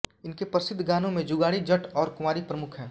इनके प्रसिद्ध गानो में जुगाडी जट और कुवारी प्रमुख है